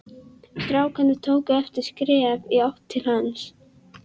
Strákarnir tóku eitt skref í áttina til hans.